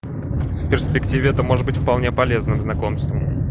в перспективе это может быть вполне полезным знакомством